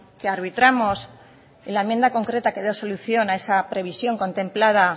que arbitramos en la enmienda concreta que da solución a esa previsión contemplada